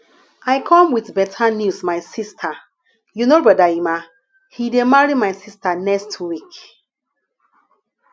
i come with beta news my sister you know brother emma he dey marry my sister next week